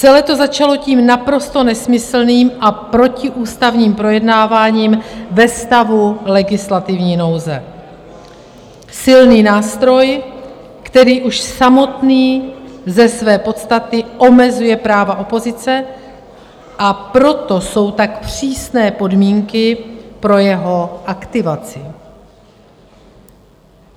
Celé to začalo tím naprosto nesmyslným a protiústavním projednáváním ve stavu legislativní nouze - silný nástroj, který už samotný ze své podstaty omezuje práva opozice, a proto jsou tak přísné podmínky pro jeho aktivaci.